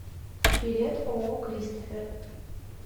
билет ооо кристофер